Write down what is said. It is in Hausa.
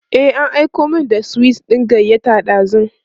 e an Aiko min da sweet ɗin gayyata dazun